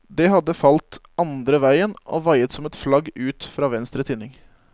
Det hadde falt andre veien og vaiet som et flagg ut fra venstre tinning.